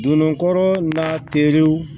Donna yɔrɔ n'a terew